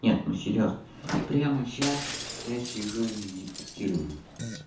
нет ну серьёзно прямо сейчас я сижу и медитирую